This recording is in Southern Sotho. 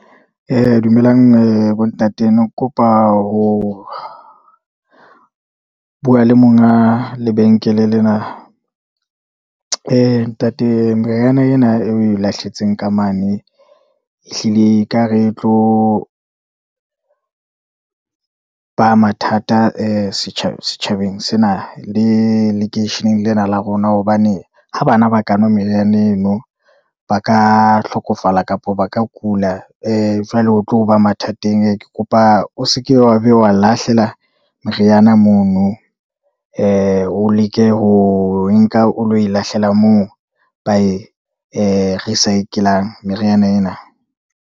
Dumelang ee bo ntate ne ke kopa ho bua le monga lebenkele lena, ee ntate meriana ena e lahlehetseng ka mane, ehlile ekare e tlo ba mathata ee setjhabeng sena, le lekeisheneng lena la rona. Hobane ha bana ba ka nwa meriana eno, ba ka hlokofala kapa ba ka kula, ee jwale o tlo ba mathateng, ke kopa o seke wa ba wa lahlela meriana mono, ee o leke ho nka o lo e lahlela moo, ba e ee recicle-ang meriana ena.